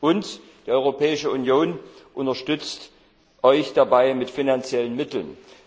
Und die Europäische Union unterstützt euch dabei mit finanziellen Mitteln.